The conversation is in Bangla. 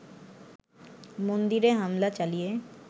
মন্দিরে হামলা চালিয়ে